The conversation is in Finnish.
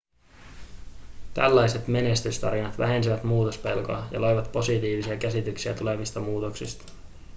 tällaiset menestystarinat vähensivät muutospelkoa ja loivat positiivisia käsityksiä tulevista muutoksista